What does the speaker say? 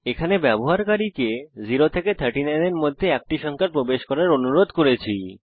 এখানে আমরা ব্যবহারকারীদের 0 থেকে 39 এর মধ্যে একটি সংখ্যা প্রবেশ করার অনুরোধ করেছি